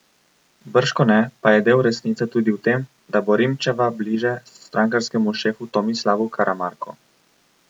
Bržkone pa je del resnice tudi v tem, da bo Rimčeva bliže strankarskemu šefu Tomislavu Karamarku.